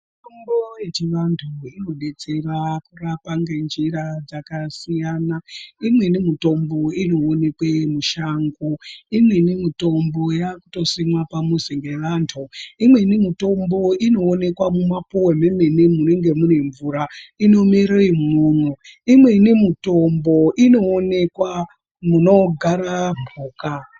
Mutombo yechivantu inodetsera kurapa ngenjira dzakasiyana imweni mutombo inoonekwa mushango imweni mutombo yakutosimwa pamuzi ngevantu imweni mitombo inoonekwa mymapuwe mwemene munenge mune mvura inomere umwomwo imweni mutombo inoonekwa munogara mhuka.